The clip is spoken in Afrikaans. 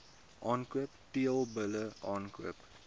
aankoop teelbulle aankoop